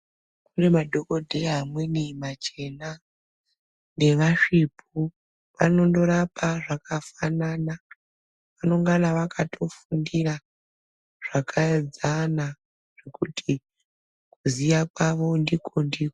Kune madhokoteya amweni machena neva svipu vanondo rapa zvaka fanana anongana vakato fundira zvaka enzana kuti kuziya kwavo ndiko ndiko.